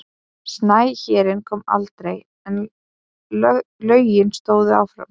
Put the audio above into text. Snæhérinn kom aldrei en lögin stóðu áfram.